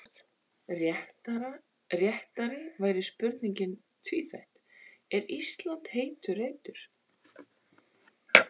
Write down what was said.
Réttari væri spurningin tvíþætt: Er Ísland heitur reitur?